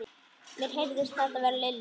Mér heyrist það vera Lilja.